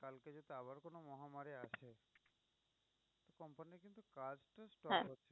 হ্যাঁ